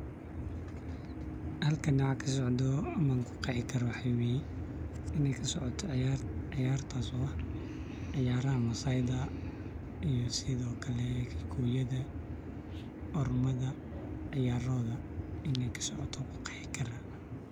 Halkan waxa kasocdo waxan kuqeexi waxa weye inay kasocoto ciyaar, ciyaartas oo ah ciyaaraha maasayda iyo sidokale kikuyada, ormada ciyaarahoda inay kasocoto ayan kuqeexi karaa